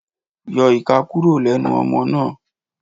Yọ ìka kúrò lẹ́nu ọmọ náà.